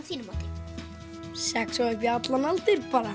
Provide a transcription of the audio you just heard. þínu mati sex og upp í allan aldur bara